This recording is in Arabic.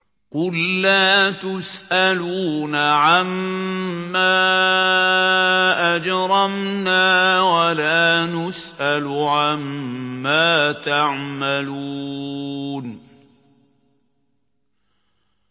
قُل لَّا تُسْأَلُونَ عَمَّا أَجْرَمْنَا وَلَا نُسْأَلُ عَمَّا تَعْمَلُونَ